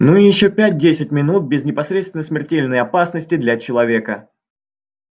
ну и ещё пять-десять минут без непосредственной смертельной опасности для человека